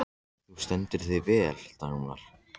Þú stendur þig vel, Dagmar!